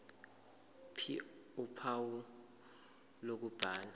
ph uphawu lokubhala